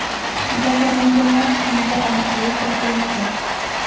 Jabrlanganlar soniga aniqlik kiritilmagan.